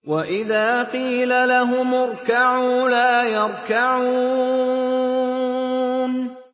وَإِذَا قِيلَ لَهُمُ ارْكَعُوا لَا يَرْكَعُونَ